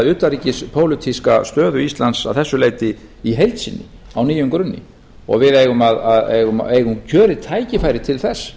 utanríkispólitíska stöðu íslands að þessu leyti í heild sinni á nýjum grunni og við eigum kjörið tækifæri til þess